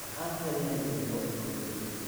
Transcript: Waxaan helnay deeqo nagu filan.